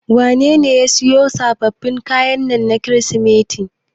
Wanene ya siyo miki sababbin kaya na Kirsimeti.